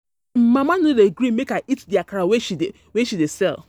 My mama no dey gree make I eat the akara she dey sell